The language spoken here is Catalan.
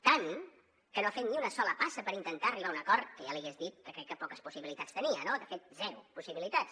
tant que no ha fet ni una sola passa per intentar arribar a un acord que ja li hagués dit que crec que poques possibilitats tenia no de fet zero possibilitats